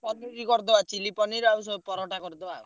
କରିଦବା chilly ପନିର ଆଉ ସେ ପରଟା କରିଦବା।